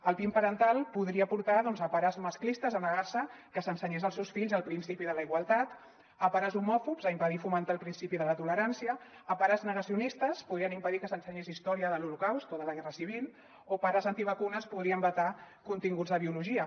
el pin parental podria portar doncs pares masclistes a negar·se que s’ensenyés als seus fills el principi de la igualtat pares homòfobs a impedir fomentar el prin·cipi de la tolerància pares negacionistes podrien impedir que s’ensenyés història de l’holocaust o de la guerra civil o pares antivacunes podrien vetar continguts de biologia